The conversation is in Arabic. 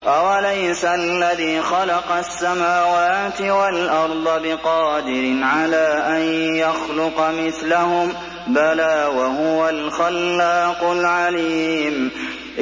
أَوَلَيْسَ الَّذِي خَلَقَ السَّمَاوَاتِ وَالْأَرْضَ بِقَادِرٍ عَلَىٰ أَن يَخْلُقَ مِثْلَهُم ۚ بَلَىٰ وَهُوَ الْخَلَّاقُ الْعَلِيمُ